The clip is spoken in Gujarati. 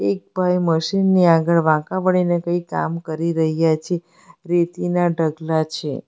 એક ભાઈ મશીન ની આગળ વાંકા વળીને કઈ કામ કરી રહ્યા છે રેતીના ઢગલા છે.